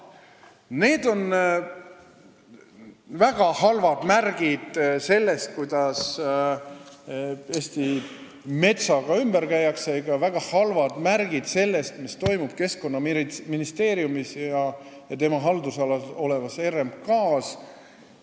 Need on väga halvad märgid sellest, kuidas Eesti metsaga ümber käiakse, ja ka väga halvad märgid sellest, mis toimub Keskkonnaministeeriumis ja selle haldusalas olevas RMK-s.